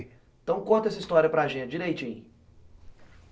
Então conta essa história para a gente, direitinho.